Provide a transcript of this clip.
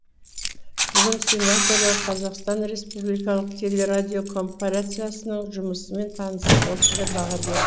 бүгін сенаторлар қазақстан республикалық телерадиокорпорациясының жұмысымен танысып осындай баға берді